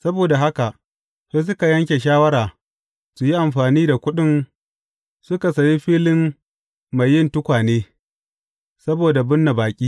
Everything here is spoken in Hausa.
Saboda haka, sai suka yanke shawara su yi amfani da kuɗin suka sayi filin mai yin tukwane, saboda binne baƙi.